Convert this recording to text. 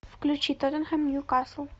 включи тоттенхэм ньюкасл